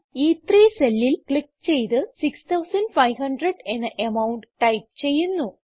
ഇ3 സെല്ലിൽ ക്ലിക്ക് ചെയ്ത് 6500 എന്ന അമൌണ്ട് ടൈപ്പ് ചെയ്യുന്നു